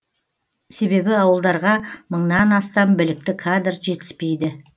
себебі ауылдарға мыңнан астам білікті кадр жетіспейді